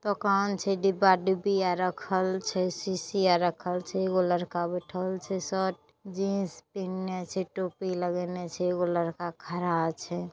दोकान छै । डिब्बा डिब्बी आर रखल छै। सीसी आर रखल छै । एगो लड़का बैठल छै । शर्ट - जीन्स पहीन्ने छै टोपी लगैने छै। एगो लड़का खड़ा छै।